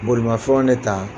Bolimafɛnw ne ta